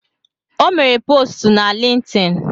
O mere postu na Lintin